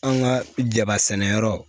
An ka jaba sɛnɛyɔrɔ